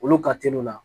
Olu ka teli o la